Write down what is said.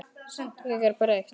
Ég er þreytt.